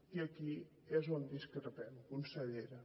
i aquí és on discrepem consellera